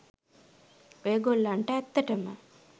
ඔය ගොල්ලන්ට ඇත්තටම